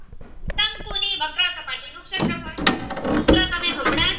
દશાંશ નું વક્રસપાટી નું શેત્રફ્ળ સૂત્ર તમે હમણાં જ